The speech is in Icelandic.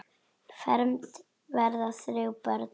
Fermd verða þrjú börn.